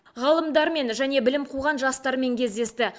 ғалымдармен және білім қуған жастармен кездесті